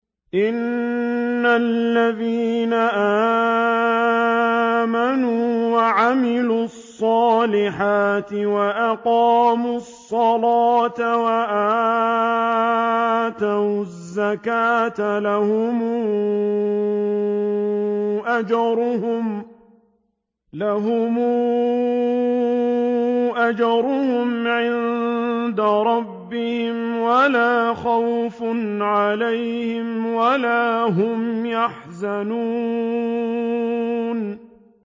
إِنَّ الَّذِينَ آمَنُوا وَعَمِلُوا الصَّالِحَاتِ وَأَقَامُوا الصَّلَاةَ وَآتَوُا الزَّكَاةَ لَهُمْ أَجْرُهُمْ عِندَ رَبِّهِمْ وَلَا خَوْفٌ عَلَيْهِمْ وَلَا هُمْ يَحْزَنُونَ